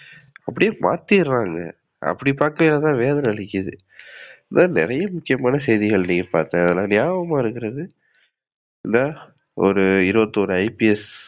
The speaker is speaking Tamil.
அப்டியே மாதிரிறாங்க. அப்டி பாக்கையிலதான் வேதனை அளிக்கிது. இன்னோ நிறைய முக்கியமான செய்திகள் நீங்க பாக்கலாம். ஆனா நியாபகத்துல இருக்குறது இந்தா ஒரு இருபத்தி ஒரு IPS